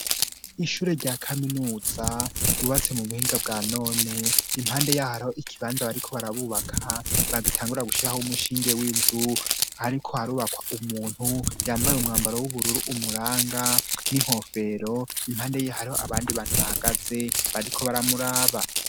Ishure rya kaminuza ryubatse mu buhinga bwa none, impande yaho hari ikibanza bariko barabubaka bagitangura gushiraho umushinge w'inzu, hariko harubakwa umuntu yambaye umwambaro w'ubururu umuranga n'inkofero, impande y'aho abandi bantu bahagaze bariko baramuraba.